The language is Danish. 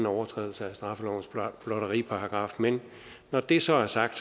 overtrædelse af straffelovens blotteriparagraf men når det så er sagt